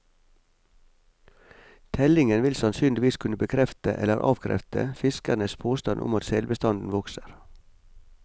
Tellingen vil sannsynligvis kunne bekrefte eller avkrefte fiskernes påstand om at selbestanden vokser.